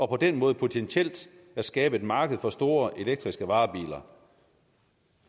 på den måde potentielt at skabe et marked for store elektriske varebiler